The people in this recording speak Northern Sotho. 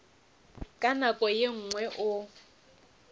ka nako ye nngwe o